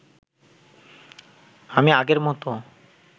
আমি আগের মতো